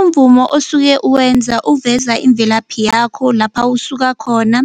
Umvumo osuke uwenza uveza imvelaphi yakho lapha usukakhona